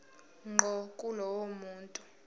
ngqo kulowo muntu